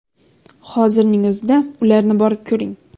Hozirning o‘zida ularni borib ko‘ring.